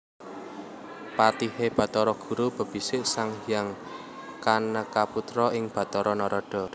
Patihe Bathara guru bebisik Sang Hyang Kanekaputra iya Bathara Narada